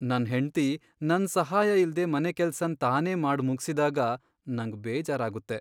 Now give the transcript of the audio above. ನನ್ ಹೆಂಡ್ತಿ ನನ್ ಸಹಾಯ ಇಲ್ದೆ ಮನೆಕೆಲಸನ್ ತಾನೇ ಮಾಡ್ ಮುಗ್ಸಿದಾಗ ನಂಗ್ ಬೇಜಾರಾಗುತ್ತೆ.